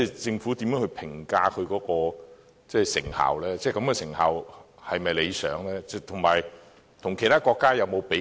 政府如何評價資助項目的成效，成效是否理想，以及有否與其他國家進行比較？